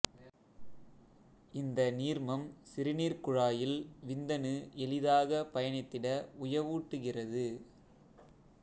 இந்த நீர்மம் சிறுநீர்க் குழாயில் விந்தணு எளிதாக பயணித்திட உயவூட்டுகிறது